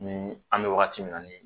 Ni an mɛ waati wagati min na ni